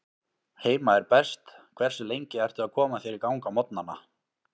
Heima er best Hversu lengi ertu að koma þér í gang á morgnanna?